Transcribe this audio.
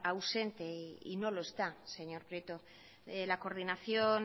ausente y no lo está señor prieto la coordinación